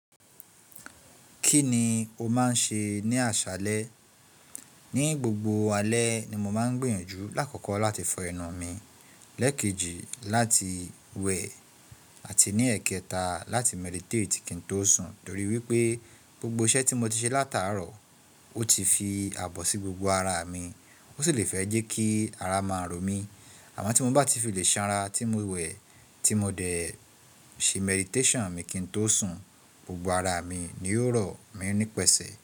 Kí ni o máa ń ṣe ní àṣálẹ́? Ní gbogbo alẹ́ ni mo máa ń gbìyànjú. Làkọ̀ọkọọ láti fọ ẹnu mi, lẹ́ẹ̀kejì láti wẹ̀ àti ní ẹ̀kẹta láti meditati kin tó sùn torí wípé gbogbo iṣẹ́ tí mo ti ṣe látàárọ̀ ó ti fi abọ̀ sí gbogbo ara mi. Ó sì le fẹ́ jẹ́ kí ara máa ro mí. Àmọ́ tí mo bá ti fi lè sanra, tí mo wẹ̀, tí mo dẹ̀ẹ ṣe mediṣan mi kin tó sùn, gbogbo ara mi ni yóò rọ̀ mí ní pẹ̀sẹ̀